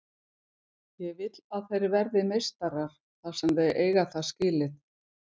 Ég vill að þeir verði meistarar þar sem þeir eiga það skilið.